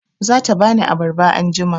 Za ta ba ni abarba anjima.